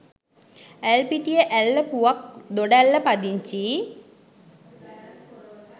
ඇල්පිටිය ඇල්ල පුවක් දොඩැල්ල පදිංචි